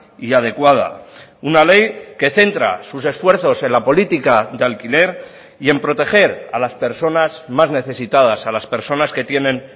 y adecuada una ley que centra sus esfuerzos en la política de alquiler y en proteger a las personas más necesitadas a las personas que tienen